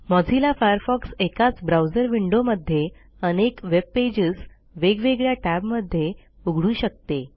Mozilla Firefox एकाच browser विंडोमध्ये अनेक वेब पेजेस वेगवेगळ्या टॅबमध्ये उघडू शकते